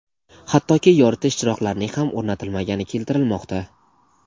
hattoki yoritish chiroqlarining ham o‘rnatilmagani keltirilmoqda.